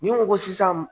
Ni n ko ko sisan